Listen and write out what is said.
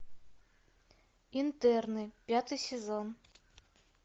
интерны пятый сезон